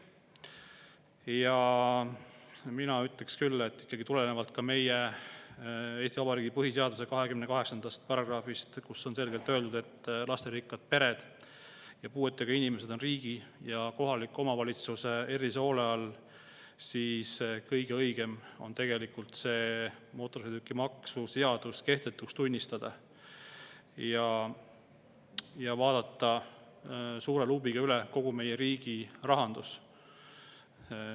Ja mina ütleksin küll, et tulenevalt ka meie Eesti Vabariigi põhiseaduse 28. paragrahvist, kus on selgelt öeldud, et lasterikkad pered ja puuetega inimesed on riigi ja kohaliku omavalitsuse erilise hoole all, on kõige õigem tegelikult mootorsõidukimaksu seadus kehtetuks tunnistada ja vaadata suure luubiga üle kogu meie riigi rahandus.